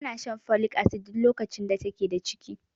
Tana shan folic acid duk lokacin da take da ciki.